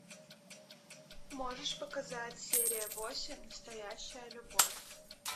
можешь показать серия восемь настоящая любовь